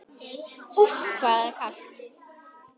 Úff, hvað það er kalt!